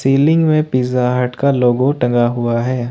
Ceiling में Pizza Hut का logo टंगा हुआ है।